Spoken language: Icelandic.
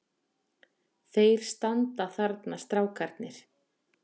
Þeir standa þarna strákarnir.